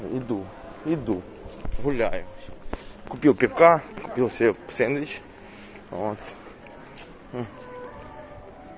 иду иду гуляю купил пивка купил себе сэндвич вот мм